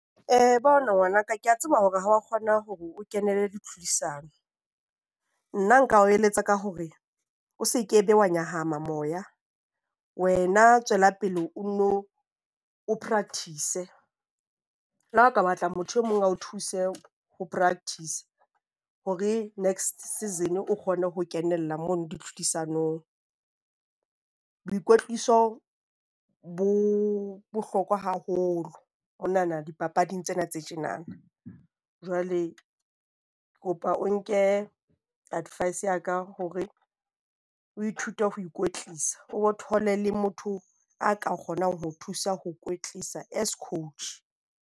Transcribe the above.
Eh, bona ngwana ka, ke a tseba hore ha wa kgona hore o kenele ditlhodisano. Nna nka o eletsa ka hore o se ke be wa nyahama moya. Wena tswela pele o nno o practice-e, Le ha o ka batla motho e mong a o thuse ho practice hore next season o kgone ho kenella mono ditlhodisanong. Boikwetliso bo bohlokwa haholo monana dipapading tsena tse tjenana. Jwale ke kopa o nke advice ya ka hore o ithute ho ikwetlisa, o bo thole le motho a ka kgonang ho o thusa ho o kwetlisa as coach.